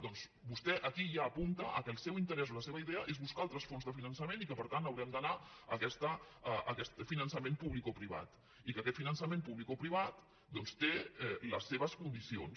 doncs vostè aquí ja apunta que el seu interès o la seva idea és buscar altres fonts de finançament i que per tant haurem d’anar a aquest finançament publicoprivat i que aquest finançament publicoprivat té les seves condicions